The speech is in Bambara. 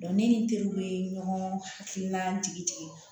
ne ni teriw bɛ ɲɔgɔn hakilina tigi tigi